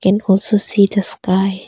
Can also see the sky.